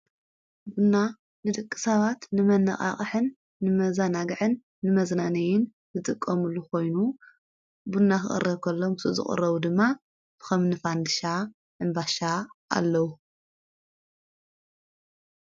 ብና ንድቂ ሳባት ንመነቓቕሕን ንመዛናግዕን ንመዘናነይን ዘጥቆሙሉ ኾይኑ ፤ብና ኽቕረኮሎም ዘቕረቡ ድማ ትኸምንፋንድሻ ፣እምባሻ ኣለዉ።